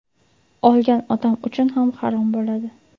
Olgan odam uchun ham harom bo‘ladi.